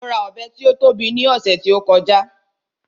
Mo ra Ọ̀bẹ tí ó tóbi ní ọ̀sẹ̀ tí ó kọjá